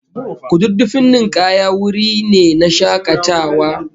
Kududdufin ninkaya wuri ne na shakatawa